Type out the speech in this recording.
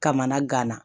Kamana gana